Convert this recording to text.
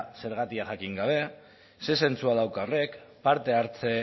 zergatia jakin gabe ze zentzua dauka horrek parte hartze